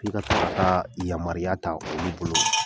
F'i ka se ka taa yamaruya ta olu bolo